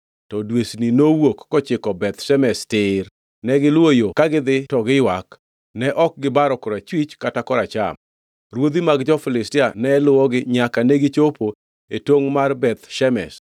To dwesni nowuok kochiko Beth Shemesh tir, negiluwo yo ka gidhi to giywak, ne ok gibaro korachwich kata koracham. Ruodhi mag jo-Filistia ne luwogi nyaka negichopo e tongʼ man Beth Shemesh.